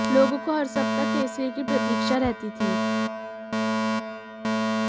लोगों को हर सप्ताह केसरी की प्रतीक्षा रहती थी